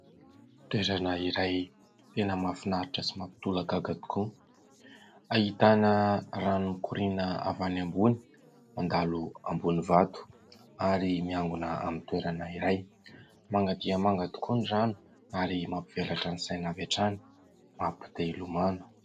Toerana iray tena mahafinaritra sy mampitolagaga tokoa. Ahitana rano mikoriana avy any ambony mandalo ambonin'ny vato ary miangona amin'ny toerana iray. Manga dia manga tokoa ny rano ary mampivelatra ny saina avy hatrany, mampite- hilomano.